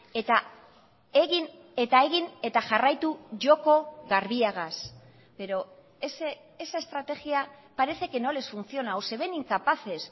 eta egin eta egin eta jarraitu joko garbiagaz pero esa estrategia parece que no les funciona o se ven incapaces